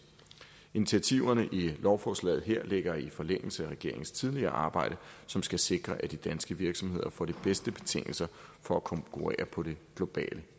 initiativerne i lovforslaget her ligger i forlængelse af regeringens tidligere arbejde som skal sikre at de danske virksomheder får de bedste betingelser for at konkurrere på det globale